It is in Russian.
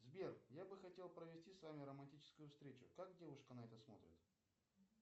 сбер я бы хотел провести с вами романтическую встречу как девушка на это смотрит